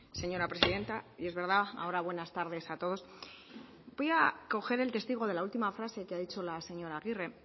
señora presidenta y es verdad ahora buenas tardes a todos voy a coger el testigo de la última frase que ha dicho la señora agirre